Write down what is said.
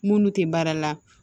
Minnu tɛ baara la